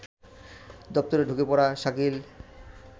দপ্তরে ঢুকে পড়া শাকিল